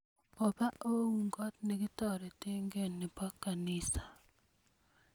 obaa ouun kot ne kitoretekee nebo kanisa